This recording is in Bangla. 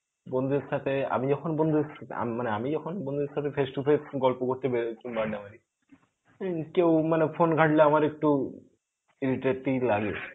বন্ধুদের সাথে আমি যখন বন্ধুদের সাথে ম~ মানে আমি যখন বন্ধুদের সাথে face to face গল্প করতে বেরই আড্ডা মারি কেউ মানে phone ঘাটলে আমার একটু iterative লাগে.